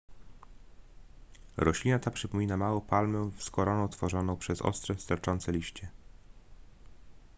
roślina ta przypomina małą palmę z koroną tworzoną przez ostre sterczące liście